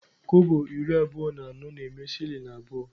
Kobo iri abụọ na anọ na-eme shilling abụọ.